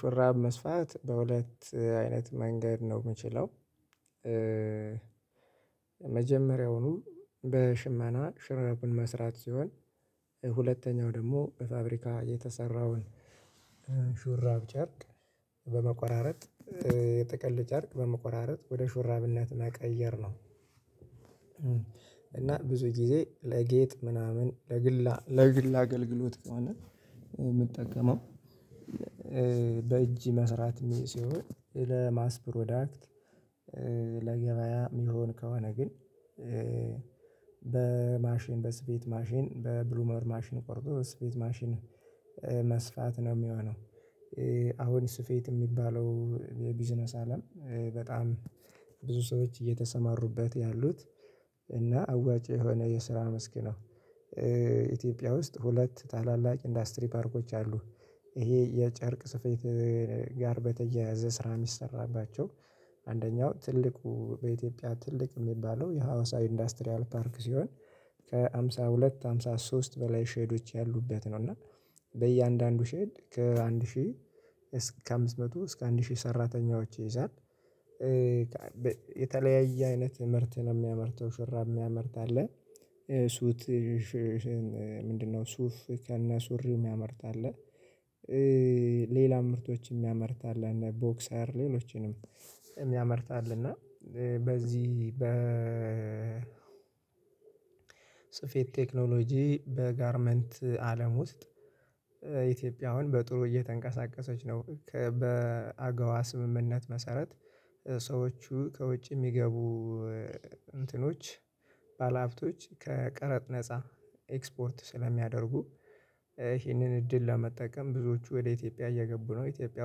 ሹራብ መስፋት በሁለት አይነት መንገድ ነው የምችለው። መጀመሪያውኑ በሽመና ሹራቡን መስራት ሲሆን ሁለተኛው ደግሞ በፋብሪካ የተሰራውን ሹራብ ጨርቅ በመቆራረጥ፤ የጥቅል ጨርቅ በመቆራረጥ፤ ወደ ሹራብነት እና መቀየርነው። እና ብዙ ጊዜ ለጌጥ ምናምን ለግል አገልግሎት ከሆነ የምጠቀመው በእጅ መስራት ሲሆን ለማስፕሮዳክት ለገበያ የሚሆን ከሆነ ግን በማሽን በስፌት ማሽን በብሉመር ማሽን ቆርጦ በስፌት ማሽን መስፋት ነው የሚሆነው። አሁን ስፌት የሚባለው የቢዝነስ አለም በጣም ብዙ ሰዎች እየተሰማሩበት ያሉት እና አዋጭ የሆነ የስራ መስክ መስክ ኢትዮጵያ ውስጥ ሁለት ታላላቅ ኢንዱስትሪ ፓርኮች አሉ። ይሄ የጨርቅ ስፌት ጋር በተያያዘ ስራ የሚሰራባቸው አንደኛው ትልቁ በኢትዮጵያ ትልቅ የሚባለው የሀዋሳ ኢንዱስትሪያል ፓርክ ሲሆን ከሃምሳ ሁለት ሃምሳ ሶስት በላይ ሼዶች ያሉበት ነው እና በእያንዳንዱ ሼድ ከአንድ ሺህ እስከ አምስት መቶ እስከ አንድ ሺህ ሰራተኞች ይይዛል። የተለያየ አይነት ምርት ነው የሚያመርተው ሹራብ የሚያመርት አለ ምንድነው ሱፍ ከነ ሱሪው የሚያመርት አለ ሌሎች ምርቶችንም የሚያመርት አለ እነ ቦክሳርሌሎችንም የሚያመርት አለ እና በዚህ በ ስፌት ቴክኖሎጂ በጋርመንት አለም ውስጥ ኢትዮጵያውያ አሁን በጥሩ እየተንቀሳቀሰች ነው በአግዋ ስምምነት መሰረት ሰዎቹ ከውጭ የሚገቡ እንትኖች ባለሀብቶች ከቀረጥ ነፃ ኤክስፖርት ስለሚያደርጉ ይሄንን እድል ለመጠቀም ብዙዎቹ ወደ ኢትዮጵያ እየገቡ ነው። ኢትዮጵያ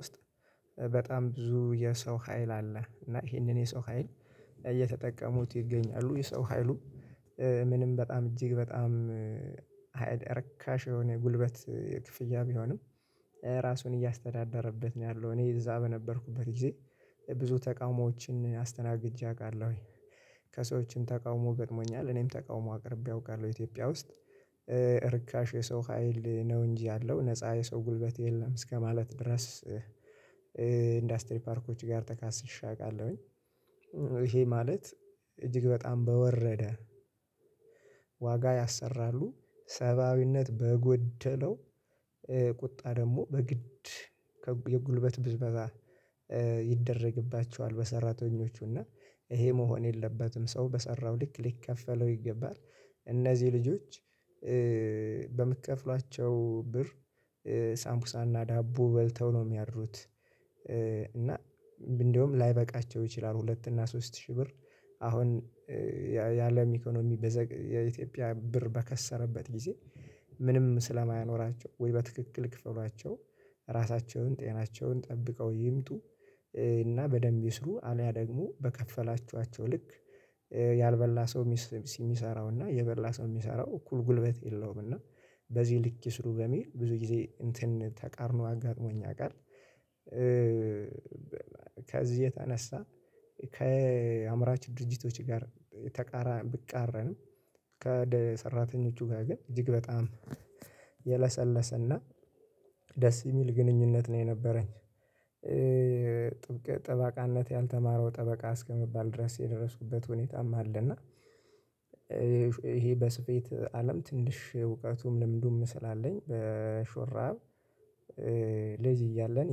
ውስጥ በጣም ብዙ የሰው ሀይል አለ እና ይሄንን የሰው ሀይል እየተጠቀሙት ይገኛሉ። የሰው ሀይሉ ምንም በጣም እጅግ በጣም ሀይል ረካሽ የሆነ ጉልበት ክፍያ ቢሆንም ራሱን እያስተዳደረበት ነው ያለው እኔ እዛ በነበርኩበት ጊዜ ብዙ ተቃውሞዎችን አስተናግጄ አውቃለሁ። ከሰዎችም ተቃውሞ ገጥሞኛል እኔም ተቃውሞ አቅርቤ አውቃለሁ ኢትዮጵያ ውስጥ ርካሽ የሰው ሀይል ነው እንጂ ያለው ነፃ የሰው ጉልበት የለም እስከማለት ድረስ ኢንዱስትሪ ፓርኮች ጋር ተካስሼ አውቃለሁኝ። ይሄ ማለት እጅግ በጣም በወረደ ዋጋ ያሰራሉ። ሰብአዊነት በጎደለው ቁጣ ደግሞ በግድ የጉልበት ብዝበታ ይደረግባቸዋል። በሰራተኞቹ እና ይሄ መሆን የለባትም ሰው በሰራው ልክ ሊከፈለው ይገባል። እነዚህ ልጆች በምትከፍሏቸው ብር ሳምቡሳና ዳቦ በልተው ነው የሚያድሩት እና እንደውም ላይበቃቸው ይችላል ሁለት እና ሶስት ሺህ ብር አሁን የአለም ኢኮኖሚ የኢትዮጵያ ብር በከሰረበት ጊዜ ምንም ስለማያኖራቸው ወይ በትክክል ክፍሏቸው ራሳቸውን ጤናቸውን ጠብቀው ይምጡ። እና በደንብ ይስሩ አልያ ደግሞ በከፈላችኋቸው ልክ ያልበላ ሰው የሚሰራው እና የበላ ሰው የሚሰራው እኩል ጉልበት የለውም እና በዚህ ልክ ይስሩ በሚል ብዙ ጊዜ እንትን ተቃርኖ አጋጥሞኝ ያውቃል ከዚህ የተነሳ ከአምራች ድርጅቶች ጋር ብቃረንም ከሰራተኞቹ ጋር ግን እጅግ በጣም የለሰለሰና ደስ የሚል ግንኙነት ነው የነበረኝ። ጥብቅ ጠበቃነት ያልተማረው ጠበቃ እስከመባል ድረስ የደረስኩበት ሁኔታም አለ እና። ይሄ በስፌት አለም ትንሽ እውቀቱም ልምዱም ስላለኝ በሹራብ ልጅ እያለን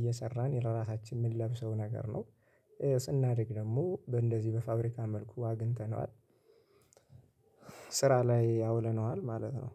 እየሰራን ለራሳችን የምንለብሰው ነገር ነው። ስናድግ ደግሞ በእንደዚህ በፋብሪካ መልኩ አግኝተነዋል ስራ ላይ አውለነዋል ማለት ነው